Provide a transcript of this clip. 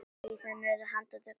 Síðan urðu handtök hennar hröð.